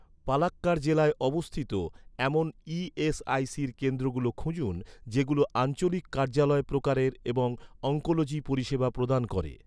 পালাক্কাড় জেলায় অবস্থিত, এমন ই.এস.আই.সির কেন্দ্রগুলো খুঁজুন, যেগুলো আঞ্চলিক কার্যালয় প্রকারের এবং অনকোলজি পরিষেবা প্রদান করে